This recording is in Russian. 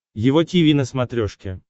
его тиви на смотрешке